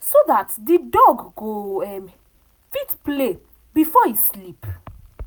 so that the dog go um fit play before e sleep.